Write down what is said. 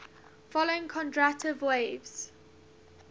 following kondratiev waves